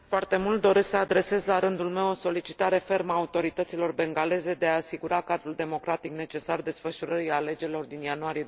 Doresc să adresez, la rândul meu, o solicitare fermă autorităților bengaleze de a asigura cadrul democratic necesar desfășurării alegerilor din ianuarie